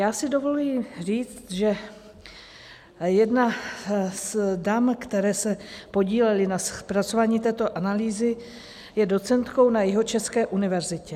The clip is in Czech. Já si dovoluji říct, že jedna z dam, které se podílely na zpracování této analýzy, je docentkou na Jihočeské univerzitě.